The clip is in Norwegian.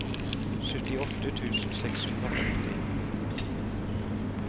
syttiåtte tusen seks hundre og førti